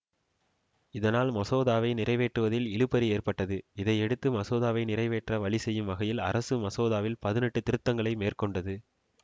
இதனால் மசோதாவை நிறைவேற்றுவதில் இழுபறி ஏற்பட்டது இதையடுத்து மசோதாவை நிறைவேற்ற வழிசெய்யும் வகையில் அரசு மசோதாவில் பதினெட்டு திருத்தங்களை மேற்கொண்டது